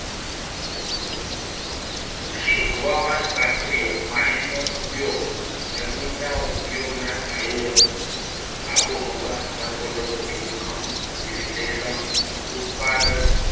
કૃષિ હવામાન શાસ્ત્રીય માહિતીનો ઉપયોગ જમીનના ઉપયોગના આયોજનમાં આબોહવા સંકટોનું જોખમ વિશ્લેષણ ઉત્પાદન